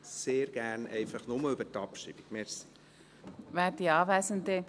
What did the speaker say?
Sehr gerne einfach nur über die Abstimmung, danke.